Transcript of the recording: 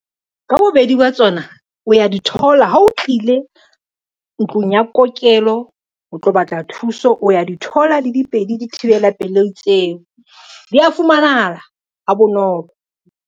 Ka bobedi ba tsona, o ya di thola ha o tlile ntlong ya kokelo o tlo batla thuso, o ya di thola le dipedi dithibela pelei tseo di a fumanahala ha bonolo.